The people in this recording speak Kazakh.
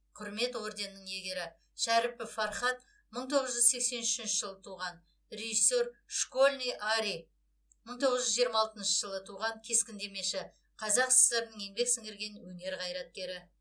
құрмет орденінің иегері шәріпов фархат мың тоғыз жүз сексен үшінші жылы туған режиссер школьный арий мың тоғыз жүз жиырма алтыншы жылы туған кескіндемеші қазақ сср інің еңбек сіңірген өнер қайраткері